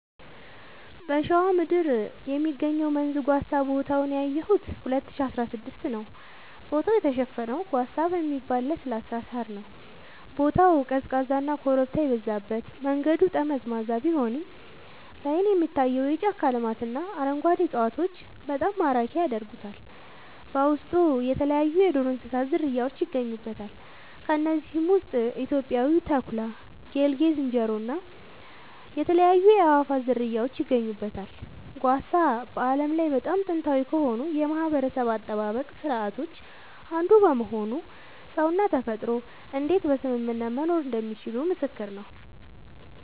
በሸዋ ምድር የሚገኘው መንዝ ጓሳ ቦታውን ያየሁት 2016 ነዉ ቦታው የተሸፈነው ጓሳ በሚባል ለስላሳ ሳር ነዉ ቦታው ቀዝቃዛና ኮረብታ የበዛበት መንገዱ ጠመዝማዛ ቢሆንም ላይን የሚታየው የጫካ ልማትና አረንጓዴ እፅዋቶች በጣም ማራኪ ያደርጉታል በውስጡ የተለያይዩ የዱር እንስሳት ዝርያውች ይገኙበታል ከነዚህም ውስጥ ኢትዮጵያዊው ተኩላ ጌልጌ ዝንጀሮ እና የተለያዩ የአእዋፋት ዝርያወች ይገኙበታል። ጓሳ በዓለም ላይ በጣም ጥንታዊ ከሆኑ የማህበረሰብ አጠባበቅ ስርዓቶች አንዱ በመሆኑ ሰውና ተፈጥሮ እንዴት በስምምነት መኖር እንደሚችሉ ምስክር ነዉ